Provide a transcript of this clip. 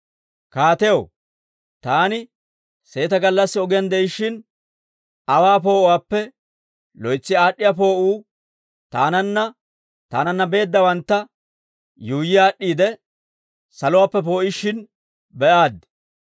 Kaatew, taani seeta gallassi ogiyaan de'ishshin, aawaa poo'uwaappe loytsi aad'd'iyaa poo'uu taananne taananna beeddawantta yuuyyi aad'd'iide, saluwaappe poo'ishshin be'aaddi.